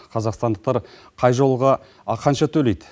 қазақстандықтар қай жолға қанша төлейді